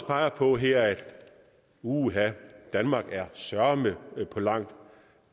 peger på her at uha danmark er søreme langt